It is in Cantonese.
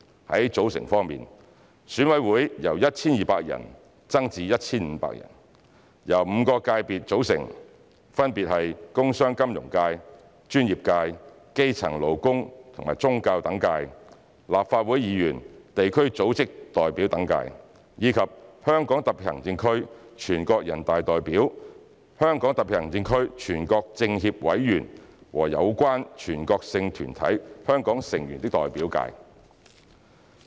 在組成方面，選委會由 1,200 人增至 1,500 人，由5個界別組成，分別為"工商、金融界"、"專業界"、"基層、勞工和宗教等界"、"立法會議員、地區組織代表等界"及"香港特別行政區全國人大代表、香港特別行政區全國政協委員和有關全國性團體香港成員的代表界"。